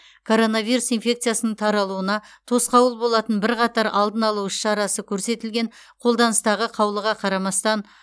коронавирус инфекциясының таралуына тосқауыл болатын бірқатар алдын алу іс шарасы көрсетілген қолданыстағы қаулыға қарамастан